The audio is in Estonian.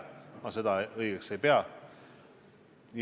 Ma seda õigeks ei pea.